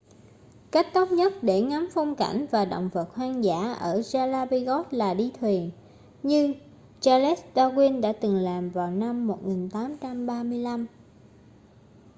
cách tốt nhất để ngắm phong cảnh và động vật hoang dã ở galapagos là đi thuyền như charles darwin đã từng làm vào năm 1835